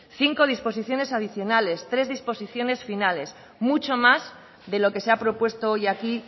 cinco disposiciones adicionales tres disipaciones finales mucho más de lo que se ha propuesto hoy aquí